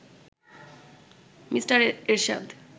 mister Ershad